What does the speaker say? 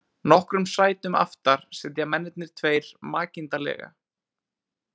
Nokkrum sætum aftar sitja mennirnir tveir makindalega.